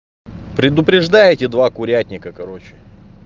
предупреждаете два курятника короче